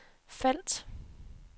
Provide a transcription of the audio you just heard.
felt